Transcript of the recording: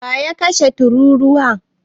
waye ya kashe tururuwa?